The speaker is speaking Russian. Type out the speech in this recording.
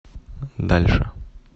дальше